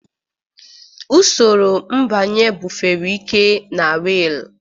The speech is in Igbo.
Usoro mbanye bufere ike na wiil.